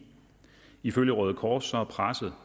ifølge røde kors er presset